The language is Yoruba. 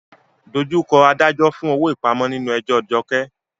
Face the magistrate for bail in Jumoke's case.